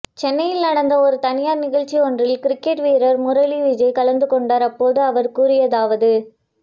சென்னையில் நடந்த ஒரு தனியார் நிகழ்ச்சி ஒன்றில் கிரிக்கெட் வீரர் முரளி விஜய் கலந்து கொண்டார் அப்போது அவர் கூறியதாவது